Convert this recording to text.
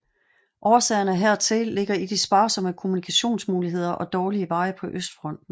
Årsagerne hertil ligger i de sparsomme kommunikationsmuligheder og dårlige veje på Østfronten